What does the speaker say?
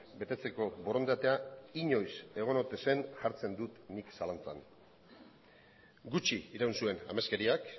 betetzeko borondatea inoiz egon ote zen jartzen dut nik zalantzan gutxi iraun zuen ameskeriak